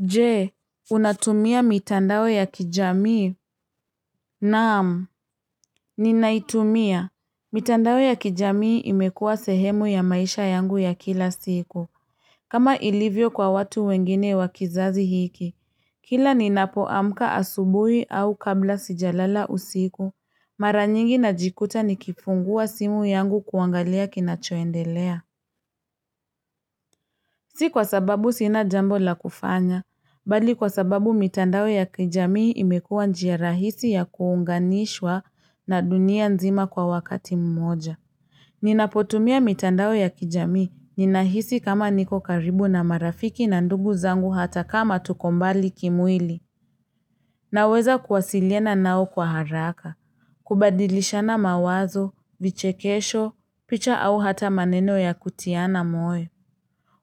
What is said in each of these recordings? Jee, unatumia mitandawe ya kijamii? Naamu, ninaitumia. Mitandawe ya kijamii imekua sehemu ya maisha yangu ya kila siku. Kama ilivyo kwa watu wengine wakizazi hiki. Kila ninapoamka asubui au kabla sijalala usiku. Maranyingi najikuta nikifungua simu yangu kuangalia kinachoendelea. Si kwa sababu sina jambo la kufanya. Bali kwa sababu mitandao ya kijamii imekua njia rahisi ya kuunganishwa na dunia nzima kwa wakati mmoja. Ninapotumia mitandao ya kijamii ninahisi kama niko karibu na marafiki na ndugu zangu hata kama tukombali kimwili. Naweza kuwasiliena nao kwa haraka, kubadilishana mawazo, vichekesho, picha au hata maneno ya kutiana moyo.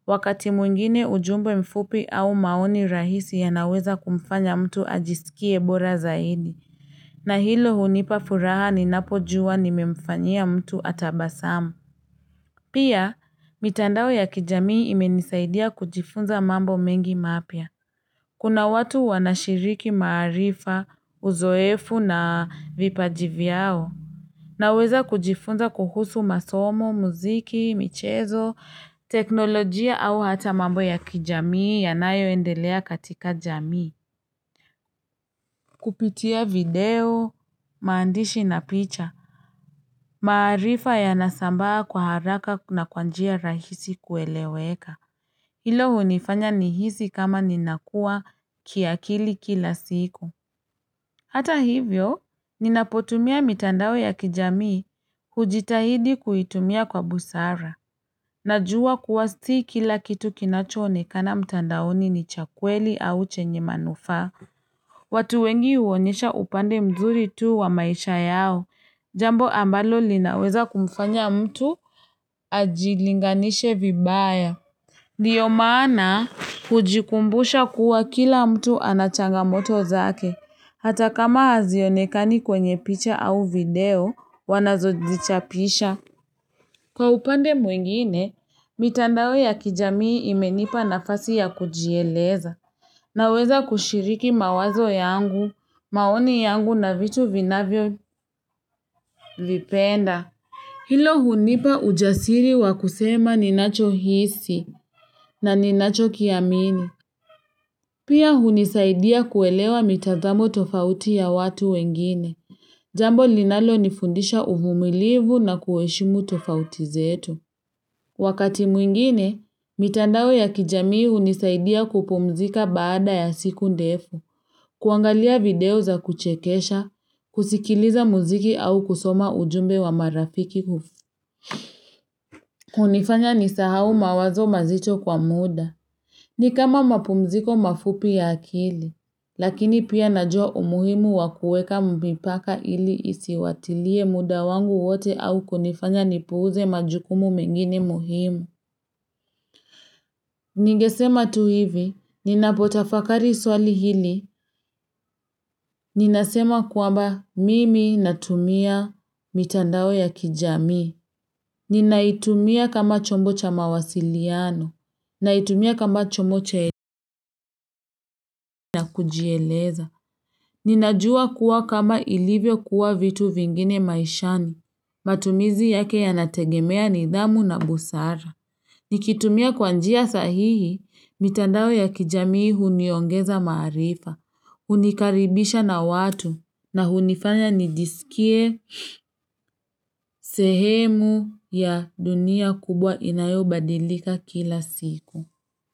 Wakati mwingine ujumbe mfupi au maoni rahisi ya naweza kumfanya mtu ajisikie bora zaidi. Na hilo hunipafuraha ni napo juwa nimemfanya mtu atabasamu. Pia, mitandao ya kijamii imenisaidia kujifunza mambo mengi mapya. Kuna watu wanashiriki marifa, uzoefu na vipaji vyao. Naweza kujifunza kuhusu masomo, muziki, michezo, teknolojia au hata mambo ya kijamii yanayo endelea katika jamii. Kupitia video, mandishi na picha. Maarifa ya nasambaa kwa haraka na kwa njia rahisi kueleweka. Hilo hunifanya nihisi kama ninakua kiakili kila siku. Hata hivyo, ninapotumia mitandao ya kijamii hujitahidi kuitumia kwa busara. Najua kuwa si kila kitu kinachonekana mtandaoni ni chakweli au chenye manufa. Watu wengi uonisha upande mzuri tu wa maisha yao. Jambo ambalo linaweza kumfanya mtu ajilinganisha vibaya. Ndiyo maana hujikumbusha kuwa kila mtu anachanga moto zake. Hata kama hazionekani kwenye picha au video, wanazodichapisha. Kwa upande mwingine, mitandao ya kijamii imenipa nafasi ya kujieleza. Naweza kushiriki mawazo yangu, maoni yangu na vitu vinavyo lipenda. Hilo hunipa ujasiri wa kusema ninacho hisi na ninacho kiamini. Pia hunisaidia kuelewa mitadamu tofauti ya watu wengine. Jambo linalo nifundisha uvumilivu na kueshimu tofauti zetu. Wakati mwingine, mitandao ya kijamii unisaidia kupumzika baada ya siku ndefu, kuangalia video za kuchekesha, kusikiliza muziki au kusoma ujumbe wa marafiki kufu. Unifanya nisahau mawazo mazicho kwa muda. Ni kama mapumziko mafupi ya akili, lakini pia najua umuhimu wakueka mipaka ili isiwatilie muda wangu wote au kunifanya nipuze majukumu mengini muhimu. Nigesema tu hivi, ninapotafakari swali hili, ninasema kuwamba mimi natumia mitandao ya kijami. Ninaitumia kama chombo cha mawasiliano, naitumia kama chombocha elika na kujieleza. Ninajua kuwa kama ilivyo kuwa vitu vingine maishani, matumizi yake yanategemea nidhamu na busara. Nikitumia kwa njia sahihi, mitandao ya kijamii huniongeza maarifa, unikaribisha na watu, na hunifanya nijisikie sehemu ya dunia kubwa inayobadilika kila siku.